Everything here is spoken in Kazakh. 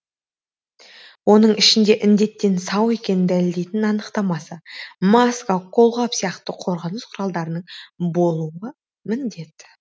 оның ішінде індеттен сау екенін дәлелдейтін анықтамасы маска қолғап сияқты қорғаныс құралдарының болуы міндет